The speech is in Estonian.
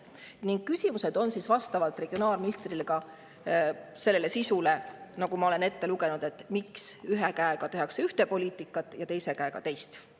Ning küsimused regionaalministrile on vastavalt sellele sisule, mis ma ette lugesin, et miks tehakse ühe käega üht poliitikat ja teise käega teist.